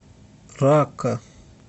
ракка